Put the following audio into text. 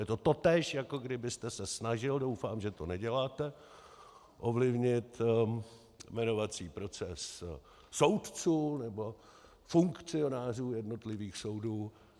Je to totéž, jako kdybyste se snažil - doufám, že to neděláte - ovlivnit jmenovací proces soudců nebo funkcionářů jednotlivých soudů.